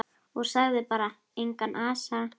Og sagði bara: Engan asa.